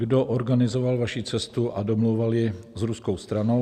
Kdo organizoval vaši cestu a domlouval ji s ruskou stranou?